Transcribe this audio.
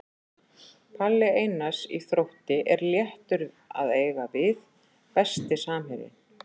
Palli Einars í Þrótti er léttur að eiga við Besti samherjinn?